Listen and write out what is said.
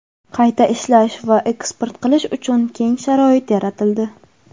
qayta ishlash va eksport qilish uchun keng sharoit yaratildi.